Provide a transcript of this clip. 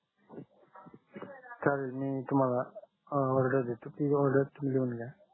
चालेल मी तुम्हाला ऑडर देतो ती ऑडर तुम्ही लिहून घ्या